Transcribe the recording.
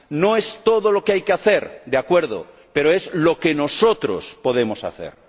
No es todo lo que hay que hacer, de acuerdo. Pero es lo que nosotros podemos hacer.